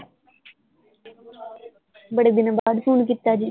ਬੜੇ ਦਿਨਾਂ ਬਾਅਦ ਫੋਨ ਕੀਤਾ ਜੇ?